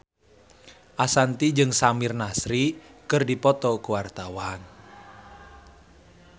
Ashanti jeung Samir Nasri keur dipoto ku wartawan